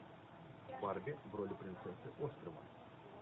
барби в роли принцессы острова